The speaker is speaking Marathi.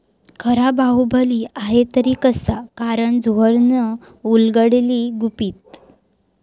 खरा बाहुबली आहे तरी कसा? करण जोहरनं उलगडली गुपितं